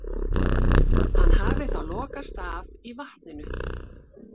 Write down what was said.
Hann hafi þá lokast af í vatninu.